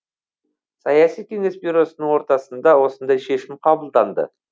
саяси кеңес бюросының отырысында осындай шешім қабылданды